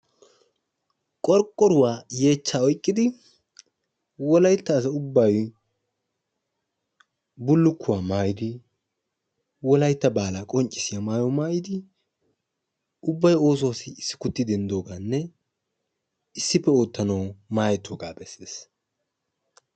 Qorqqoruwaa yeechcha oyqqidi wolaytta asay ubbay bulluluwa maayidi wolaytta baahiliyaa qonccissiya maayuwaa maayidi ubbay oosuwassi issi kutti denddooganne issi oottanaw maayetooga bessees.